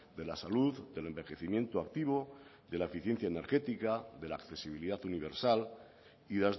de la salud del envejecimiento activo de la eficiencia energética de la accesibilidad universal y